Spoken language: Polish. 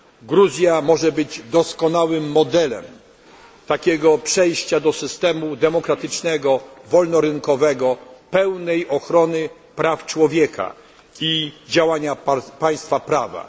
Gruzja może być doskonałym modelem przejścia do systemu demokratycznego, wolnorynkowego, pełnej ochrony praw człowieka i działania państwa prawa.